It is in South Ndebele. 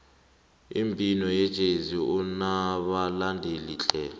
umbhino wejezi unabalandeli tle